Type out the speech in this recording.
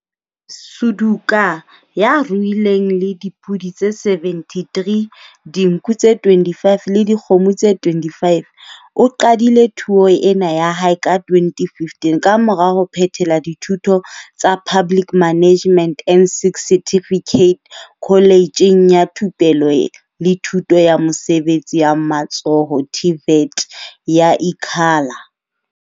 Suduka, ya ruileng le dipodi tse 73, dinku tse 25 le dikgomo tse 25, o qadile thuo ena ya hae ka 2015 kamora ho phethela dithuto tsa Public Management N6 certificate Kholejeng ya Thupelo le Thuto ya Mesebetsi ya Matsoho TVET ya Ikhala.